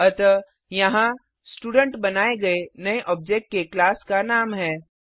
अतः यहाँ स्टूडेंट बनाये गये नये ऑब्जेक्ट के क्लास का नाम है